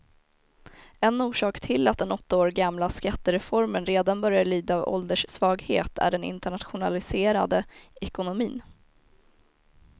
En orsak till att den åtta år gamla skattereformen redan börjar lida av ålderssvaghet är den internationaliserade ekonomin.